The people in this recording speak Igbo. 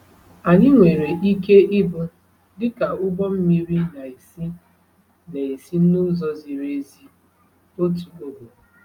Anyị nwere ike ịbụ dịka ụgbọ mmiri na-esi na-esi n’ụzọ ziri ezi otu ogo.